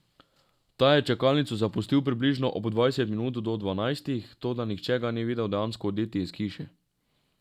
Ta je čakalnico zapustil približno ob dvajset minut do dvanajstih, toda nihče ga ni videl dejansko oditi iz hiše.